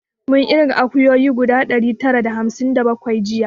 Mun irga akuyoyi guda ɗari tara da hamsin da bakwai jiya